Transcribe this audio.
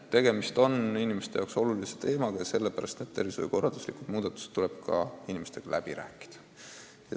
Tegemist on inimeste jaoks väga olulise teemaga ja tervishoiukorralduslikud muudatused tuleb ka kohalike elanikega läbi rääkida.